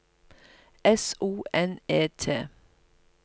S O N E T